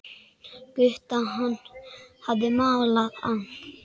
Gutta, hann hafði malað hann.